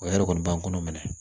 O yɛrɛ kɔni b'an kɔnɔ minɛ